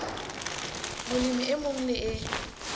molemi e mong le e